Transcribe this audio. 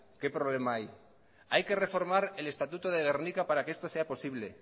qué problema hay hay que reformar el estatuto de gernika para que esto sea posible